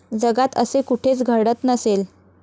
जगात असे कुठेच घडत नसेल.